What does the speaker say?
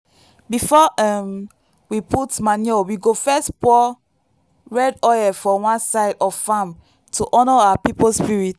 before um we put manure we go first pour red oil for one side of farm to honour our people spirit.